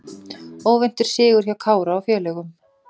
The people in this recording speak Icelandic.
Óvæntur sigur hjá Kára og félögum